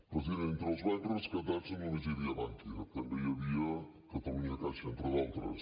president entre els bancs rescatats no només hi havia bankia també hi havia catalunya caixa entre d’altres